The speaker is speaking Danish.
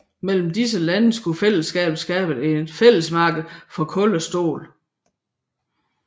Mellem disse lande skulle fællesskabet skabe et fællesmarked for kul og stål